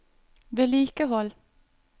vedlikehold